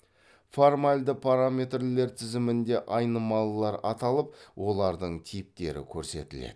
формальды параметрлер тізімінде айнымалылар аталып олардың типтері көрсетіледі